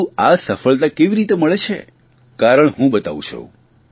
પરંતુ આ સફળતા કેવી રીતે જોવા મળે છે કારણ હું બતાવું છું